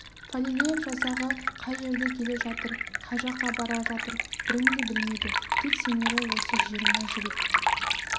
фалилеев жасағы қай жерде келе жатыр қай жаққа бара жатыр бірін де білмейді тек сенері осы жиырма жігіт